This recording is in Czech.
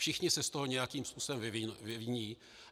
Všichni se z toho nějakým způsobem vyviní.